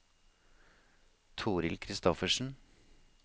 Torhild Kristoffersen